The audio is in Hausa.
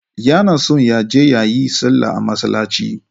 Yana son ya je ya yi sallah a masallaci.